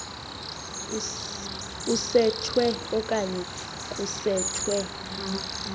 usetshwe okanye kusetshwe